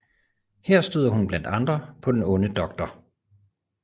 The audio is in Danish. Her støder hun blandt andre på den onde dr